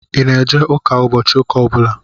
Ị na-eje ụka ụbọchị ụka ọbụla?